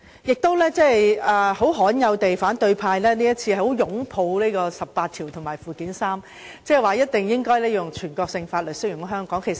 反對派今次罕有地相當擁護《基本法》第十八條及附件三，即有關全國性法律適用於香港的情況。